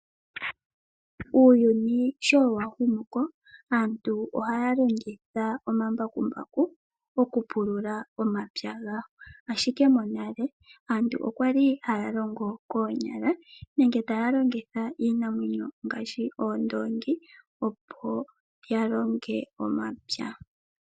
Uuyuni shonwa humu ko, aantu ohaya longitha omambakumbaku okupulula omapya gawo. Ashike monale aantu okwali haya longo koonyala nenge taya longitha iinamwenyo ngaashi oondongi, oponya longe omapya.